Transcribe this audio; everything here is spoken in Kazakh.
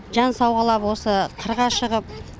жан сауғалап осы қырға шығып